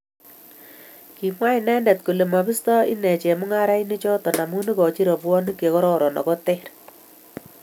kimwa inrndet kole mabisto inen chemung'arainivhoto amun ikochini robwoniek chekororon ako teer